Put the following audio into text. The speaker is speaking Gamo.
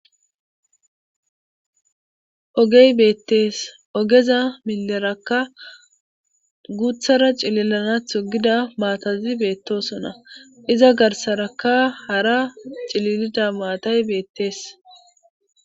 ogey beettees ogeza milerakka guuthara cililanah hogida maatazi beettosona iza garsaraka hara cililida maatay beettees